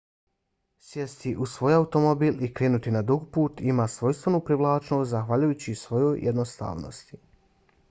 sjesti u svoj automobil i krenuti na dug put ima svojstvenu privlačnost zahvaljujući svojoj jednostavnosti